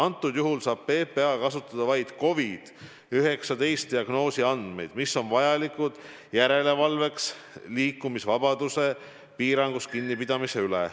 Antud juhul saab PPA kasutada vaid COVID-19 diagnoosi andmeid, mis on vajalikud, et teha järelevalvet liikumisvabaduse piirangust kinnipidamise üle.